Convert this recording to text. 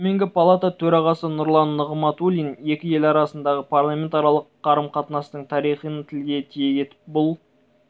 төменгі палата төрағасы нұрлан нығматулин екі ел арасындағы парламентаралық қарым-қатынастың тарихын тілге тиек етіп бұл